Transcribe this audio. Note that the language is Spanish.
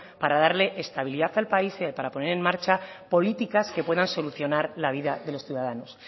para darle estabilidad al país y para poner en marcha políticas que puedan solucionar la vida de los ciudadanos